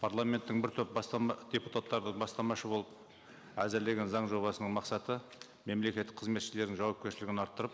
парламенттің бір топ депутаттары бастамашы болып әзірлеген заң жобасының мақсаты мемлекеттік қызметшілердің жауапкершілігін арттырып